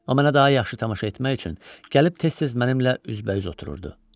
Amma mənə daha yaxşı tamaşa etmək üçün gəlib tez-tez mənimlə üz-bə-üz otururdu.